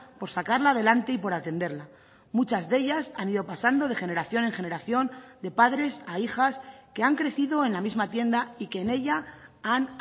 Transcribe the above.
por sacarla adelante y por atenderla muchas de ellas han ido pasando de generación en generación de padres a hijas que han crecido en la misma tienda y que en ella han